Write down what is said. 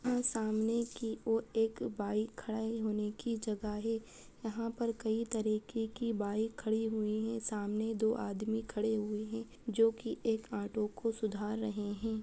यहाँ सामने की और एक बाइक खड़े होने की जगह हे वहां पर कई तरीके की बाइक खड़ी हुई है सामने दो आदमी खड़े हुए है जो की एक ऑटो को सुधार रहे है ।